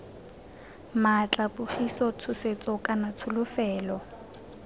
maatla pogiso tshosetso kana tsholofetso